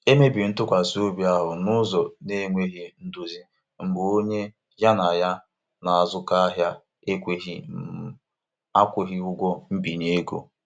Emebiri ntụkwasị obi ahụ n'ụzọ na-enweghị ndozi mgbe onye ya na ya na-azụkọ ahịa ekweghị um akwụghị ụgwọ mbinye ego.